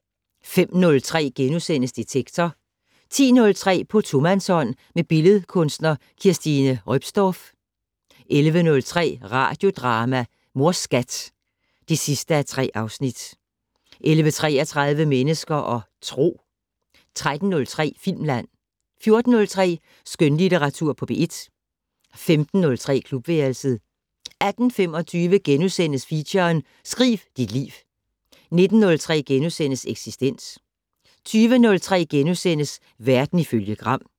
05:03: Detektor * 10:03: På tomandshånd med billedkunstner Kirstine Roepsdorff 11:03: Radiodrama: Mors Skat (3:3) 11:33: Mennesker og Tro 13:03: Filmland 14:03: Skønlitteratur på P1 15:03: Klubværelset 18:25: Feature: Skriv dit liv * 19:03: Eksistens * 20:03: Verden ifølge Gram *